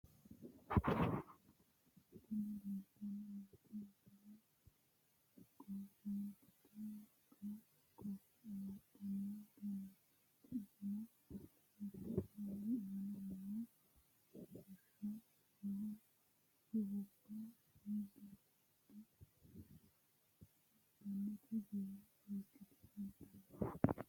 Tini leeltanni nooti misile korreentete wolqa koffe amaddanno uduunnichooti iseno mittu xuruuri aana noo xushsho (shiwubba)gidfo heedhanno giira seekkite amaddanno.